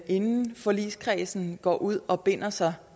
inden forligskredsen går ud og binder sig